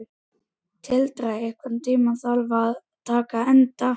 Tildra, einhvern tímann þarf allt að taka enda.